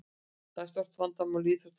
Þetta er stórt vandamál í íþróttinni.